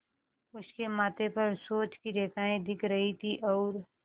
उसके माथे पर सोच की रेखाएँ दिख रही थीं और